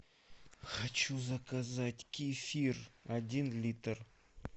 хочу заказать кефир один литр